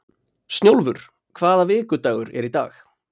Snjólfur, hvaða vikudagur er í dag?